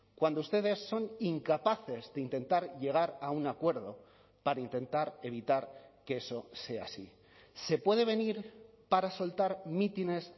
cuando ustedes son incapaces de intentar llegar a un acuerdo para intentar evitar que eso sea así se puede venir para soltar mítines